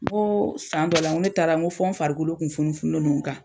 N koo san dɔ la ŋo ne taara ŋo fɔ n farikolo tun funufununen don n kan